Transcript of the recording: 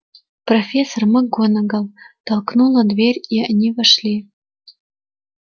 профессор макгонагалл толкнула дверь и они вошли